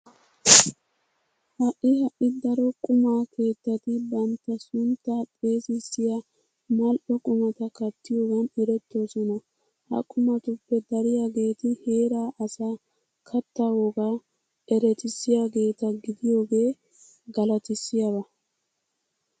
Ha"i ha"i daro quma keettati bantta sunttaa xeesissiya manl"o qumata kattiyogan erettoosona. Ha qumatuppe dariyageeti heeraa asaa kattaa wogaa eretissiyageeta gidiyogee galatissiyaba.